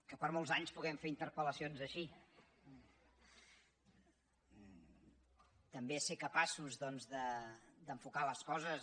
que per molts anys puguem fer interpellacions així també ser capaços doncs d’enfocar les coses